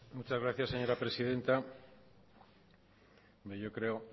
muchas gracias señora presidenta bueno yo creo